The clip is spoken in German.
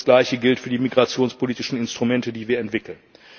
Und das Gleiche gilt für die migrationspolitischen Instrumente, die wir entwickeln.